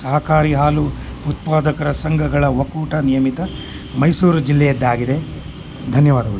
ಇಲ್ಲಿ ನಾವು ಏನು ನೋಡ್ತಾ ಇದ್ದೀರಿ ಅಂದ್ರೆ ಇಲ್ಲಿ ಹುಡುಗ ನೀರು ಕಡೆ ಎಲ್ಲಾ ಬ್ರಿಡ್ಜ್ ಮೇಲೆ ನಿಂತುಕೊಂಡು ಅಲ್ಲಿ ಫೋಟೋಸ್ ಹೇಳ್ತೀರೋದು ಅಂತ ನೋಡಬಹುದು